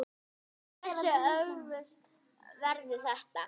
Hversu öflugt verður þetta?